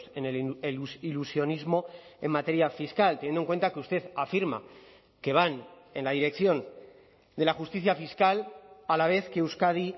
en el ilusionismo en materia fiscal teniendo en cuenta que usted afirma que van en la dirección de la justicia fiscal a la vez que euskadi